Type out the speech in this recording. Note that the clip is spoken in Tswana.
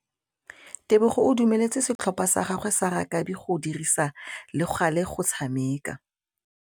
Tebogô o dumeletse setlhopha sa gagwe sa rakabi go dirisa le galê go tshameka.